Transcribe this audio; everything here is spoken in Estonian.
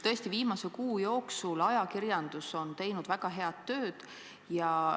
Tõesti, viimase kuu jooksul on ajakirjandus teinud väga head tööd.